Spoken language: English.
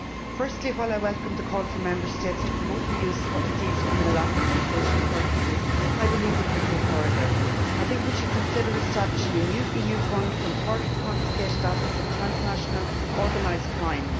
Firstly, while I welcome the call for Member States to promote the use of seized criminal assets for social purposes, I believe we could go further. I think we should consider establishing a new EU fund from part of the confiscated assets of transnational organised crime.